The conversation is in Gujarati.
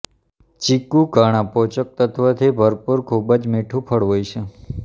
ચીકુ ઘણા પોષક તત્વથી ભરપૂર ખૂબ જ મીઠુ ફળ હોય છે